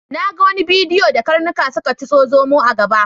Na ga wani bidiyo da karnuka suka tiso zomo a gaba.